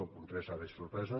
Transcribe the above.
el punt tres ara és sorpresa